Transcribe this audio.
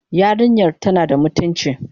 Yarinyar tana da mutunci?